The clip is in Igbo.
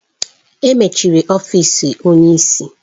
Emechiri ọfịs onye isi.